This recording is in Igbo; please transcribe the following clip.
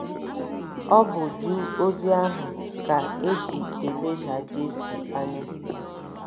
Ọ bụ ju ozi ahụ ka e ji e leda Jesu anya.